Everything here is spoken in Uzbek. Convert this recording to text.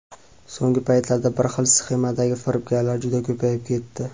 So‘nggi paytlarda bir xil sxemadagi firibgarlar juda ko‘payib ketdi.